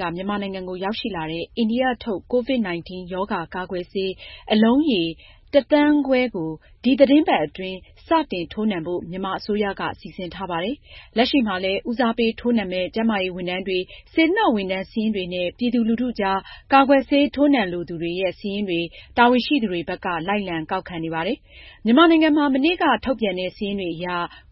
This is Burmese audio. က မြန်မာနိုင်ငံကို ရောက်ရှိလာတဲ့ အိန္ဒိယထုတ် COVID-19 ရောဂါကာကွယ်ဆေး အလုံးရေ ၁,၅၀၀,၀၀၀ ကို ဒီသီတင်းပတ်အတွင်း စတင်ထိုးနှံဖို့ မြန်မာအစိုးရက စီစဉ်ထားပါတယ်။ လက်ရှိမှာလည်း ဦးစားပေးထိုးနှံမယ့် ကျန်းမာရေးဝန်ထမ်းတွေ၊ စေတနာ့ဝန်ထမ်း စာရင်းတွေနဲ့ ပြည်သူလူထုကြား ကာကွယ်ဆေးထိုးနှံလိုသူတွေရဲ့ စာရင်းတွေ တာဝန်ရှိသူတွေဘက်က လိုက်လံကောက်ခံနေပါတယ်။ မြန်မာနိုင်ငံမှာ မနေ့ကထုတ်ပြန်တဲ့ စာရင်းတွေအရ